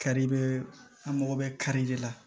Kari i bɛ an mago bɛ kari de la